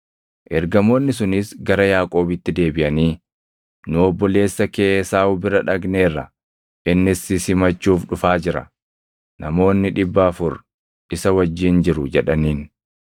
Ergamoonni sunis gara Yaaqoobitti deebiʼanii, “Nu obboleessa kee Esaawu bira dhaqneerra; innis si simachuuf dhufaa jira; namoonni dhibba afur isa wajjin jiru” jedhaniin.